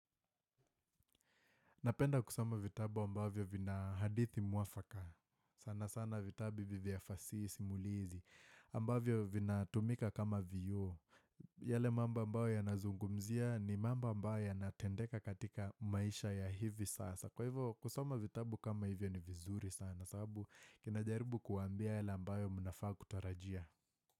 Napenda kusoma vitabu ambavyo vina hadithi mwafaka sana sana vitabu vivi vya fasihi simulizi ambavyo vinatumika kama vioo yale mambo ambayo yanazungumzia ni mambo ambayo yanatendeka katika maisha ya hivi sasa Kwa hivo kusoma vitabu kama hivyo ni vizuri sana sababu kinajaribu kuambia yale ambayo mnafaa kutarajia.